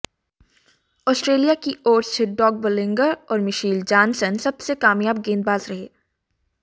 Australia की ओर से डॉग बोलिंगर और मिशेल जानसन सबसे कामयाब गेंदबाज रहे